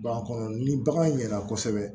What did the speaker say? Baba kɔnɔ ni bagan ɲɛna kosɛbɛ